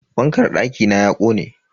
Fankar dakina ya kone.